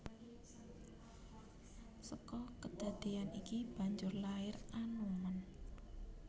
Seka kedadeyan iki banjur lair Anoman